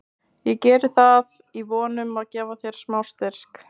Ég geri það í von um að gefa þér smá styrk.